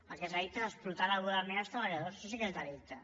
el que és delicte és explotar laboralment els treballadors això sí que és delicte